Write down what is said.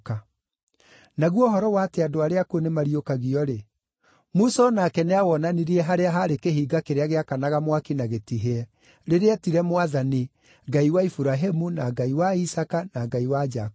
Naguo ũhoro wa atĩ andũ arĩa akuũ nĩmariũkagio-rĩ, Musa o nake nĩawonanirie harĩa haarĩ kĩhinga kĩrĩa gĩakanaga mwaki na gĩtihĩe, rĩrĩa eetire Mwathani ‘Ngai wa Iburahĩmu, na Ngai wa Isaaka, na Ngai wa Jakubu.’